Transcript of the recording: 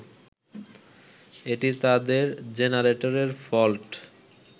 এটি তাদের জেনারেটরের ফল্ট।